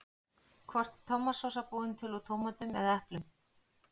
Hvort er tómatsósa búin til úr tómötum eða eplum?